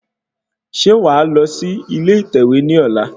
Ṣe wàá lọ sí ilé ìtẹ̀wé ní ọ̀la?